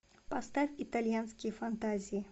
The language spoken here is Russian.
поставь итальянские фантазии